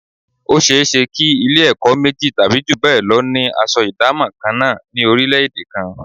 Ó ṣe é ṣe kí Ilé-ẹ̀kọ́ méjì tàbí jù bẹ́ẹ̀ lọ ni aṣọ ìdámọ̀ kan náà ní orílẹ̀-èdè kan